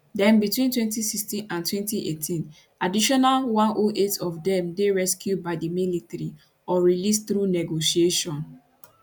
then between 2016 and 2018 additional 108 of dem dey rescued by di military or released through negotiation